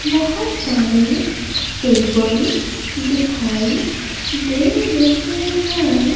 बहुत सारे टेबल दिखाई दे रहे हैं।